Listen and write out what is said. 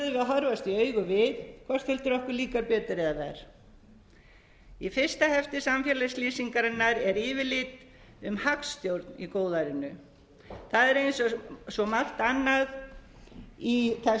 horfast í augu við hvort heldur okkur líkar betur eða verr í fyrsta hefti samfélagslýsingarinnar er yfirlit um hagstjórn i góðærinu það er eins og svo margt annað í þessu